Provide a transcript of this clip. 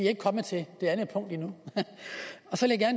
ikke kommet til det andet punkt endnu så vil jeg